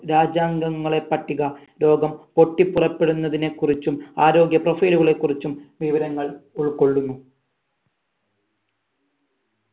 രാജ്യങ്കങ്ങളെ പട്ടിക രോഗം പൊട്ടി പുറപ്പെടുന്നതിന് കുറിച്ചും ആരോഗ്യ profile കളെ കുറിച്ചും വിവരങ്ങൾ ഉൾകൊള്ളുന്നു